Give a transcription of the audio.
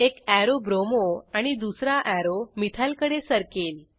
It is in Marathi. एक अॅरो ब्रोमो आणि दुसरा अॅरो मिथाइल कडे सरकेल